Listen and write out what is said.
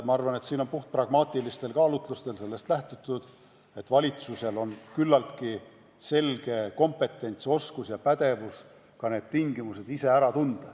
Ma arvan, et puhtpragmaatilistel kaalutlustel on siin lähtutud seisukohast, et valitsusel on küllaltki selge kompetents, oskus ja pädevus need tingimused ära tunda.